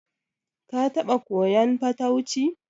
Ka taɓa koyan fatauci?